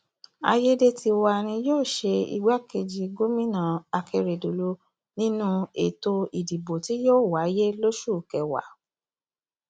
àyédètiwa ni yóò ṣe igbákejì gómìnà akérèdọlù nínú ètò ìdìbò tí yóò wáyé lóṣù kẹwàá